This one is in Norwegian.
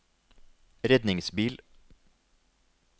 redningsbil